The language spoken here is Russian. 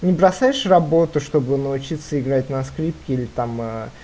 не бросаешь работу чтобы научиться играть на скрипке или там э